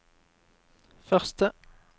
første